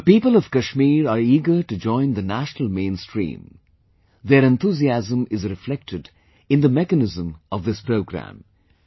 The people of Kashmir are eager to join the national main stream, their enthusiasm is reflected in the mechanism of this programme